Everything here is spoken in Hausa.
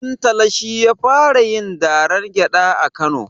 Dantata shi ya fara yin dalar gyaɗa a kano